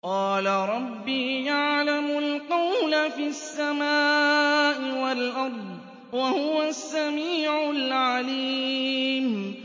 قَالَ رَبِّي يَعْلَمُ الْقَوْلَ فِي السَّمَاءِ وَالْأَرْضِ ۖ وَهُوَ السَّمِيعُ الْعَلِيمُ